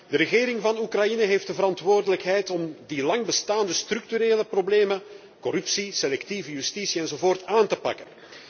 De regering van Oekraïne heeft de verantwoordelijkheid om die lang bestaande structurele problemen, zoals corruptie, selectieve justitie, enzovoort aan te pakken.